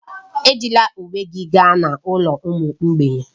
Ejila uwe gị gaa n'ụlọ ụmụ mgbei